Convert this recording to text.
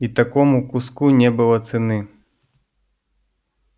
и такому куску не было цены